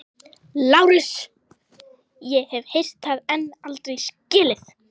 LÁRUS: Ég hef heyrt það en aldrei skilið.